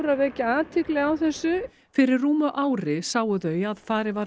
vekja athygli á þessu fyrir rúmu ári sáu þau að farið var að